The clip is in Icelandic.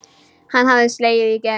Hann hafði slegið í gegn.